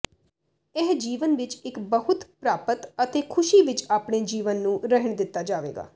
ਇਹ ਜੀਵਨ ਵਿੱਚ ਇੱਕ ਬਹੁਤ ਪ੍ਰਾਪਤ ਅਤੇ ਖੁਸ਼ੀ ਵਿਚ ਆਪਣੇ ਜੀਵਨ ਨੂੰ ਰਹਿਣ ਦਿੱਤਾ ਜਾਵੇਗਾ